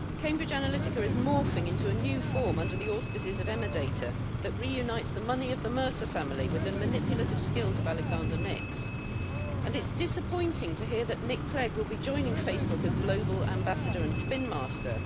Cambridge Analytica is morphing into a new form under the auspices of Emerdata that reunites the money of the Mercer family with the manipulative skills of Alexander Nix, and itʼs disappointing to hear that Nick Clegg will be joining Facebook as global ambassador and spin master.